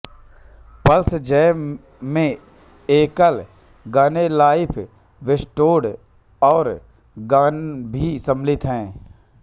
Perl Jam में एकल गाने लाइफ वेस्टेड और गॉन भी शामिल थे